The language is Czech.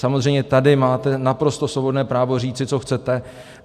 Samozřejmě tady máte naprosto svobodné právo říci, co chcete.